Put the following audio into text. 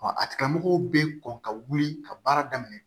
a tigilamɔgɔw bɛ kɔn ka wuli ka baara daminɛ